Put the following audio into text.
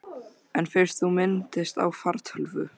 En fyrst þú minntist á fartölvu.